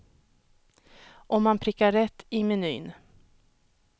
Om man prickar rätt i menyn.